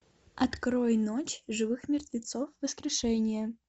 открой ночь живых мертвецов воскрешение